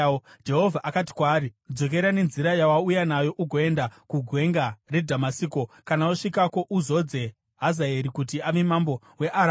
Jehovha akati kwaari, “Dzokera nenzira yawauya nayo, ugoenda kuGwenga reDhamasiko. Kana wasvikako, uzodze Hazaeri kuti ave mambo weAramu.